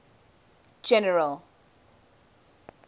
general